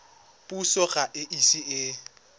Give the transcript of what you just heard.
puso ga e ise e